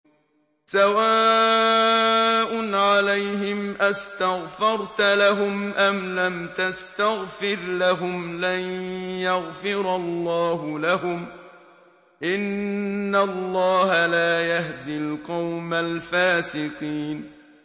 سَوَاءٌ عَلَيْهِمْ أَسْتَغْفَرْتَ لَهُمْ أَمْ لَمْ تَسْتَغْفِرْ لَهُمْ لَن يَغْفِرَ اللَّهُ لَهُمْ ۚ إِنَّ اللَّهَ لَا يَهْدِي الْقَوْمَ الْفَاسِقِينَ